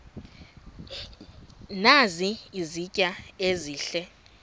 nazi izitya ezihle